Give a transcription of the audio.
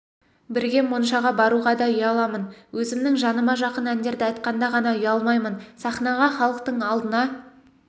бірге моншаға баруға да ұяламын өзімнің жаныма жақын әндерді айтқанда ғана ұялмаймын саінаға іалықтың алдына